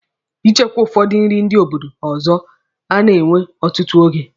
Ichekwa ụfọdụ nri ndị obodo ọzọ a na-ewe ọtụtụ ego.